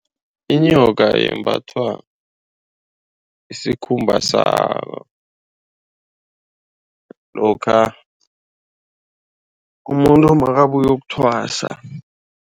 Inyoka yembathwa isikhumba sayo lokha umuntu makabuyokuthwasa.